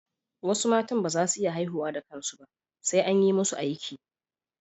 Wasu mata ba za su iya haihuwa da kansu ba, sai an yi musu aiki